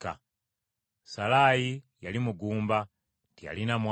Salaayi yali mugumba, teyalina mwana.